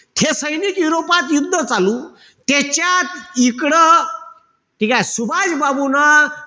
हे सैनिक युरोपात युद्ध चालू, त्याच्यात इकडं ठीकेय? सुभाषबाबून,